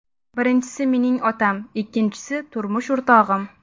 Birinchisi mening otam, ikkinchisi turmush o‘rtog‘im.